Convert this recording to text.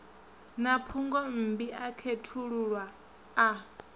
na phungommbi a khethululwa a